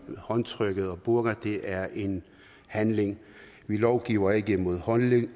håndtrykket og burka det er en handling vi lovgiver ikke mod holdninger